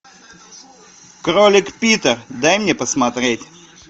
кролик питер дай мне посмотреть